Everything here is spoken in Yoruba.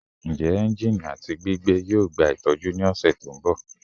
Njẹ engine ati gbigbe yoo gba itọju ni ọsẹ to nbọ?